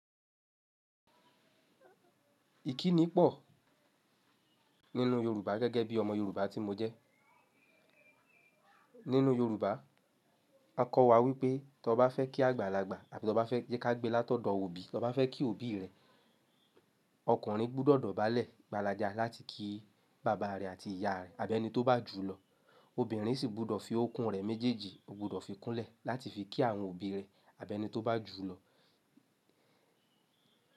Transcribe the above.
Ìkínni pọ̀ nínú Yorùbá gẹ́gẹ́ bí ọmọ Yorùbá tí mo jẹ́. Nínú Yorùbá, a kọ́ wa wípé tó bá fẹ́ kí àgbàlagbà àbí tí ọbá fẹ́ jẹ́ ká gbé látọ̀dọ̀ òbí, tí ọbá fẹ́ kí òbí rẹ̀, ọkùnrin gbọ́dọ̀ dọ̀bálẹ̀ gbaládá láti kí bàbá rẹ̀ àti ìyá rẹ̀ àbí ẹni tó bá jù ú lọ. Obìnrin sì gbọ́dọ̀ fi okùn rẹ̀ méjèèjì, ó gbọ́dọ̀ fi kúnlẹ̀ láti fi kí àwọn òbí rẹ̀ àbí ẹni tó bá jù ú lọ.